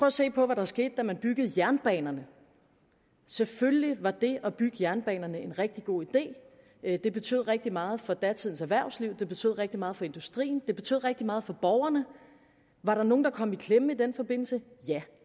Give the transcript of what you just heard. at se på hvad der skete da man byggede jernbanerne selvfølgelig var det at bygge jernbanerne en rigtig god idé det betød rigtig meget for datidens erhvervsliv det betød rigtig meget for industrien og det betød rigtig meget for borgerne var der nogen der kom i klemme i den forbindelse ja